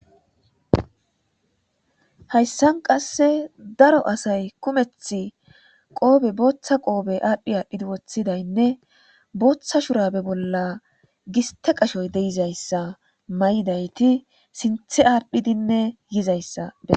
Hayssan qasse daro asay kumeth qoobe booththa qoobe aadhdhi aadhdhidi woththidaynne booththa shurabe bolla giste qashoy deizayssa may'idayti sinthe aaddhidinne yizayssae.